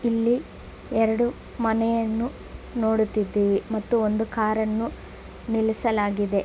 ಇಲ್ಲಿ ಎರಡು ಮನೆಯನ್ನು ನೋಡುತಿದ್ದೀವಿ ಮತ್ತು ಒಂದು ಕಾರನ್ನು ನಿಲ್ಲಿಸಲಾಗಿದೆ .